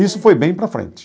Isso foi bem para frente.